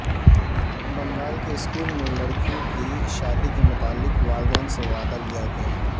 بنگال کے اسکول میں لڑکیوں کی شادی کے متعلق والدین سے وعدہ لیاگیا